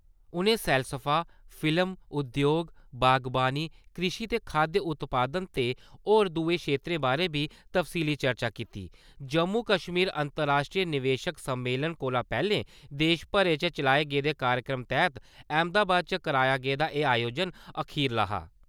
उ'नें सैलसफा, फिल्म, उद्योग, बागवानी, कृषि ते खाद्य उत्पादन ते होर दुए खेतरें बारै बी तफसीली चर्चा कीती | जम्मू-कश्मीर अंतर-राश्ट्री निवेशक सम्मेलन कोला पैह्ले देश भरे च चलाए गेदे कार्यक्रमें तैह्त अहमदाबाद च कराया गेदा एह् आयोजन अखरीला हा ।